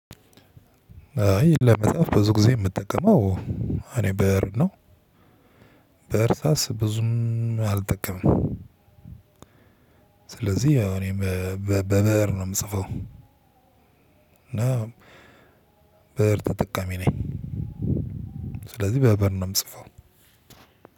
አይ ለመጽሐፍ ብዙ ጊዜ የምጠቀመው እኔ ብእር ነው በእርሳስ ብዙም አልጠቀምም። ስለዚህ እኔ በብእር ነው የምጽፈው። እና ብእር ተጠቃሚ ነኝ። ስለዚህ በበር ነው የምጽፈው